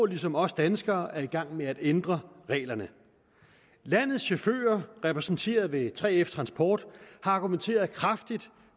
ligesom os danskere er i gang med at ændre reglerne landets chauffører repræsenteret ved 3fs transportgruppe har argumenteret kraftigt